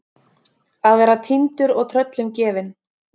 Að vera týndur og tröllum gefin